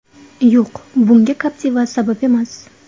Yo‘q, bunga Captiva sabab emas.